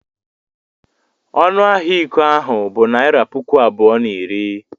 Ọnụ ahịa iko ahụ bụ naịra puku abụọ na iri.